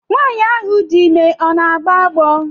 Nwaanyi ahụ dị ime ọ na-agbọ agbọ?